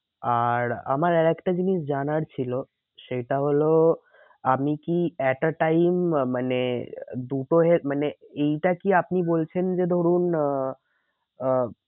আর আমার আর একটা জিনিস জানার ছিল। সেটা হলো আমি কি at a time মানে মানে এইটা কি আপনি বলছেন যে ধরুন আহ আহ